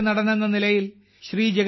ഹാസ്യനടനെന്ന നിലയിൽ ശ്രീ